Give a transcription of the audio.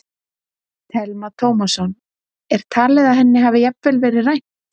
Telma Tómasson: Er talið að henni hafi jafnvel verið rænt?